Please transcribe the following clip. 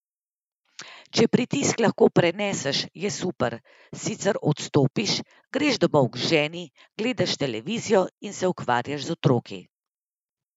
Če pritisk lahko preneseš, je super, sicer odstopiš, greš domov k ženi, gledaš televizijo, se ukvarjaš z otroki...